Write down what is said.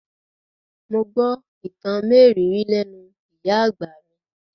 Mo gbọ́ ìtàn mérìíìírí lẹ́nú ìyá àgbà mi.